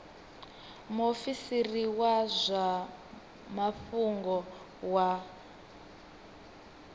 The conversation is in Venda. muofisiri wa zwa mafhungo wa